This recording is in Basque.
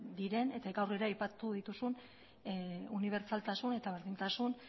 diren eta gaur ere aipatu dituzun unibertsaltasun eta berdintasun